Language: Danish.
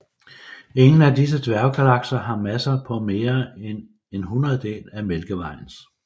Ingen af disse dværggalakser har masser på mere end en hundrededel af Mælkevejens